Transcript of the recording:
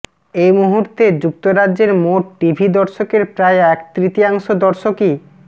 এ মুহূর্তে যুক্তরাজ্যের মোট টিভি দর্শকের প্রায় এক তৃতীয়ংশ দর্শকই